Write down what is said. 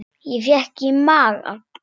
Ég fékk í magann.